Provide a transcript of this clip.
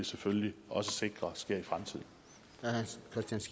selvfølgelig også sikre sker